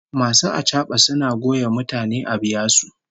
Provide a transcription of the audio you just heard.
Masu achaba suna goya mutane a biya su